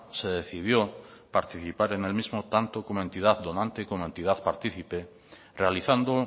se decidió participar en el mismo tanto como entidad donante y como entidad partícipe realizando